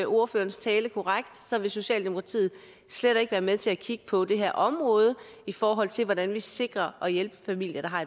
ordførerens tale korrekt vil socialdemokratiet slet ikke være med til at kigge på det her område i forhold til hvordan vi sikrer at vi hjælper familier der har